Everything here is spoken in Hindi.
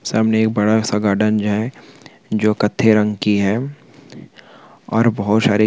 एक बड़ा सा गार्डन जो है जो कत्थई रंग की है। और बहुत सारी खिड़की बनी हुई है ।